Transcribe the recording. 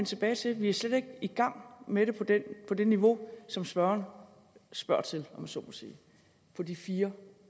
tilbage til vi er slet ikke i gang med det på det niveau som spørgeren spørger til om jeg så må sige for de fire